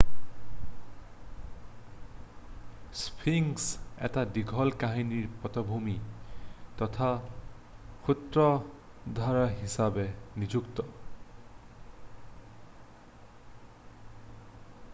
sphinx এটা দীঘল কাহিনীৰ পটভূমি তথা সূত্ৰধাৰ হিচাপে নিযুক্ত